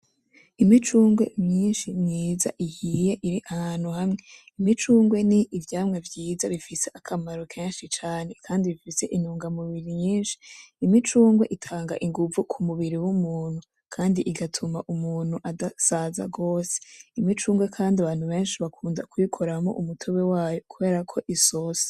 Imicungwe myinshi myiza ihiye ir'ahantu hamwe. Imicungwe n'ivyamwa vyiza bifise akamaro kenshi cane kandi ifise intungamubiri nyinshi, imicungwe itanga inguvu k'umubiri w'umuntu kandi igatuma umuntu adasaza gose, imicungwe kandi abantu benshi bakunda kuyikoramwo umutobe wayo kuberako isosa.